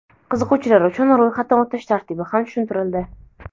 qiziquvchilar uchun ro‘yxatdan o‘tish tartibi ham tushuntirildi.